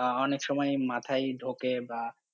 আহ অনেক সময়ই মাথায় ঢোকে বা